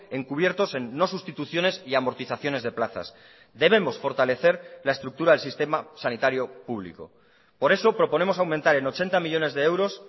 encubiertos en no sustituciones y amortizaciones de plazas debemos fortalecer la estructura del sistema sanitario público por eso proponemos aumentar en ochenta millónes de euros